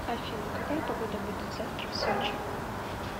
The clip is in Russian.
афина какая погода будет завтра в сочи